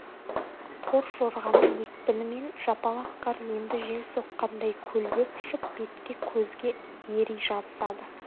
торжорғаның екпінімен жапалақ қар енді жел соққандай көлбеп ұшып бетке көзге ери жабысады